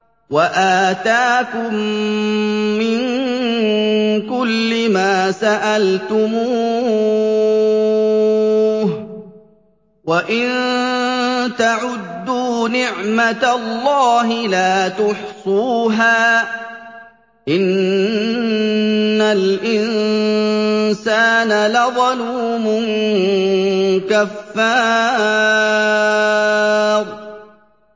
وَآتَاكُم مِّن كُلِّ مَا سَأَلْتُمُوهُ ۚ وَإِن تَعُدُّوا نِعْمَتَ اللَّهِ لَا تُحْصُوهَا ۗ إِنَّ الْإِنسَانَ لَظَلُومٌ كَفَّارٌ